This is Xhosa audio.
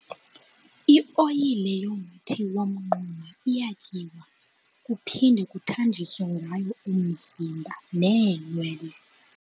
Ioyile yomthi womnquma iyatyiwa kuphinde kuthanjiswe ngayo umzimba neenwele.